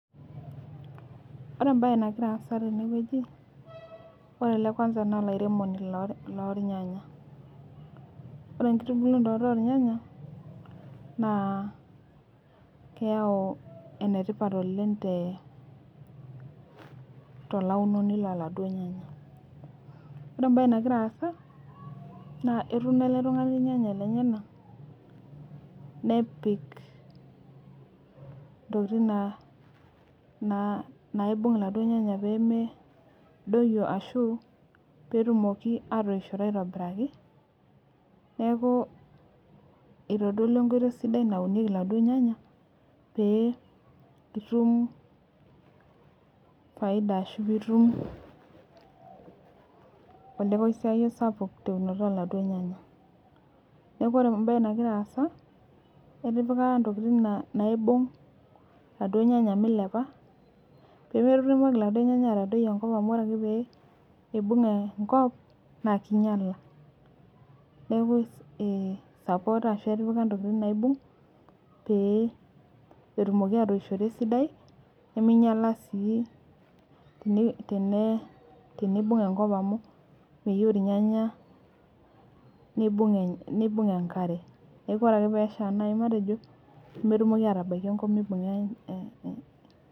Ore ebae nagira aasa tenewueji, ore ele kwansa na olairemoni lornyanya. Ore enkitubulunoto ornyanya, naa keyau enetipat oleng tolaunoni loladuo nyanya. Ore ebae nagira aasa, naa etuno ele tung'ani irnyanya lenyanak, nepik intokiting naibung' iladuo nyanya pemedoyio ashu petumoki atoishoto aitobiraki, neeku itodolua enkoitoi sidai naunieki iladuo nyanya, pee itum faida ashu pitum olekoisiayio sapuk teunoto oladuo nyanya. Neeku ore ebae nagira aasa, etipika intokiting naibung iladuo nyanya milepa, pemetumoki laduo nyanya atadoi enkop amu ore ake pee ibung' enkop, na kinyala. Neeku sapoota ashu etipika ntokiting naibung, pee etumoki atoishoto esidai, neminyala si tenibung enkop amu meyieu irnyanya nibung enkare. Neeku ore ake pesha nai matejo, nemetumoki atabaiki enkop mibung'a eh.